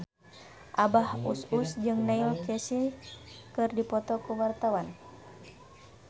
Abah Us Us jeung Neil Casey keur dipoto ku wartawan